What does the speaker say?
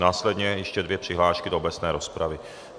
Následně ještě dvě přihlášky do obecné rozpravy.